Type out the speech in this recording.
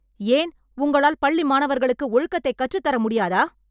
ஏன் உங்களால் பள்ளி மாணவர்களுக்கு ஒழுக்கத்தை கற்றுத் தர முடியாதா?